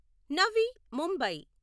Navi Mumbai